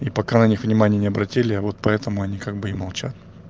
и пока на них внимания не обратили вот поэтому они как бы и молчат